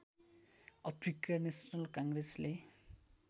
Africa national कङ्ग्रेसले